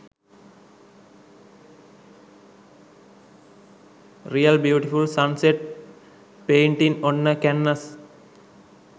real beautiful sun set painting on a canvas